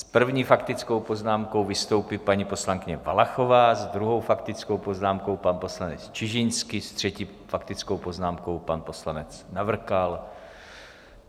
S první faktickou poznámkou vystoupí paní poslankyně Valachová, s druhou faktickou poznámkou pan poslanec Čižinský, s třetí faktickou poznámkou pan poslanec Navrkal.